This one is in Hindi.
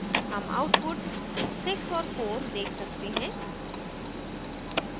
हम output 6 और 4 देख सकते हैं